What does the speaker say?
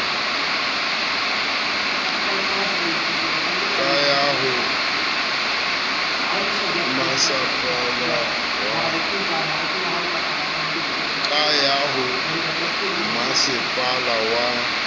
ka ya ho masepala wa